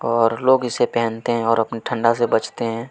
और लोग इसे पहनते हैं और अपने ठंडा से बचते हैं।